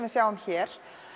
við sjáum hér